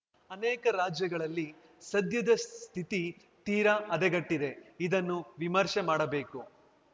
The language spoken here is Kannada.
ಅನೇಕ ರಾಜ್ಯಗಳಲ್ಲಿ ಸದ್ಯದ ಸ್ಥಿತಿ ತೀರಾ ಹದಗೆಟ್ಟಿದೆ ಇದನ್ನು ವಿಮರ್ಶೆ ಮಾಡಬೇಕು